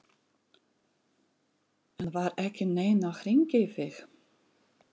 En var ekki neinn að hringja í þig?